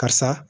Karisa